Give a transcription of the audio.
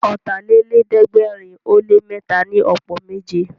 Ọ̀tàlélẹ̀ẹ́dẹ́gbẹ̀rin ó lé mẹ́ta ni ọ̀pọ̀ méje